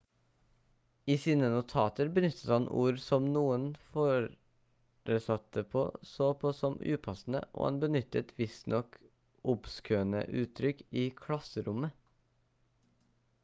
i sine notater benyttet han ord som noen foresatte så på som upassende og han benyttet visstnok obskøne uttrykk i klasserommet